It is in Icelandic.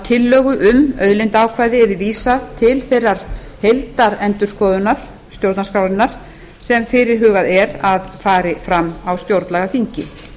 tillögu um auðlindaákvæði yrði vísað til þeirrar heildarendurskoðunar stjórnarskrárinnar sem fyrirhugað er að fari fram á stjórnlagaþingi